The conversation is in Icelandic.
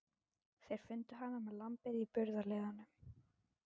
Þeir fundu hana með lambið í burðarliðnum.